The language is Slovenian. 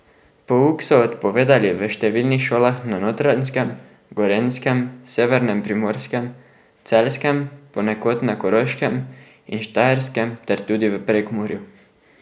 Pouk so odpovedali v številnih šolah na Notranjskem, Gorenjskem, Severnem Primorskem, Celjskem, ponekod na Koroškem in Štajerskem ter tudi v Prekmurju.